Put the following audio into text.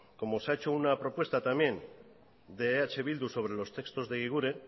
como se ha hecho una propuesta también de eh bildu sobre los textos de egiguren